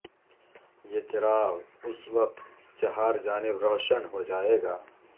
یہ چراغ اس وقت چہار جانب روشن ہو جائے گا